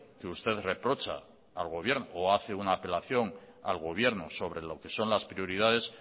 usted el que hace una apelación al gobierno sobre lo que son las prioridades